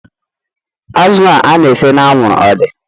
Azụ a na-ese anwụrụ ọ dị?